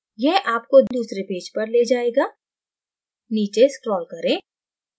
यह आपको दूसरे पेज पर ले जाएगा नीचे scroll करें